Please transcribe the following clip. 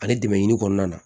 Ale dɛmɛ yiri kɔnɔna na